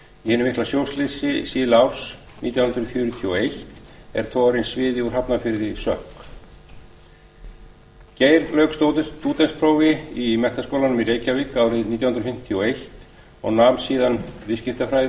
í hinu mikla sjóslysi síðla árs nítján hundruð fjörutíu og eitt er togarinn sviði úr hafnarfirði sökk geir lauk stúdentsprófi frá menntaskólanum í reykjavík árið nítján hundruð fimmtíu og eins og nam síðan viðskiptafræði